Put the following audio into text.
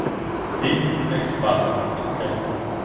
фильм экспат искать